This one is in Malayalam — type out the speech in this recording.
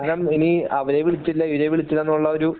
കാരണം ഇനി അവരെ വിളിച്ചില്ല ഇവരെ വിളിച്ചില്ല എന്നുള്ള ഒരു